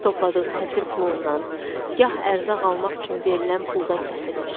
Gah topladığı həsir pulundan, gah ərzaq almaq üçün verilən puldan kəsirmiş.